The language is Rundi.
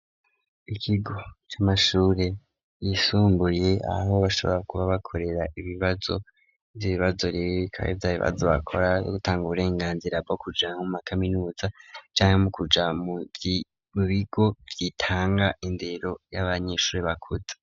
Ikigo c'amashuri yisumbuye aho bashobora kuba bakorera ibibazo vy'ibibazo rero bikaba byabibazo bakora yo gutanga uburenganzira bwo kuja mu makaminuza cange mo kuja mu bigo byitanga indero y'abanyeshuri bakuta.